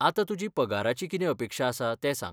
आता तुजी पगाराची कितें अपेक्षा आसा तें सांग.